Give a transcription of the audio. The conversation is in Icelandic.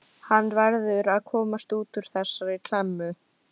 Hann verður að komast út úr þessari klemmu.